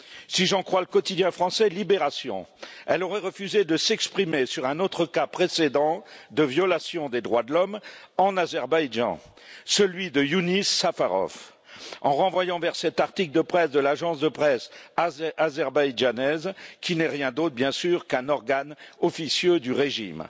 Si j'en crois le quotidien français Libération elle aurait refusé de s'exprimer sur un autre cas précédent de violation des droits de l'homme en Azerbaïdjan, celui de Yunis Safarov, en renvoyant vers un article de l'Agence de presse azerbaïdjanaise, laquelle n'est rien d'autre, bien sûr, qu'un organe officieux du régime.